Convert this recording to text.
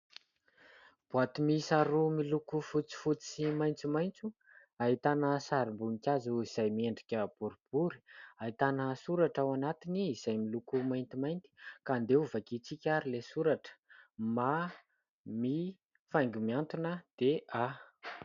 Boaty miisa roa miloko fotsifotsy sy maitsomaitso. Ahitana sarim-boninkazo izay miendrika boribory ahitana soratra ao anatiny izay miloko maintimainty ka andeha ho vakiantsika ary ilay soratra "MAMI faingo mihantona dia "A"" .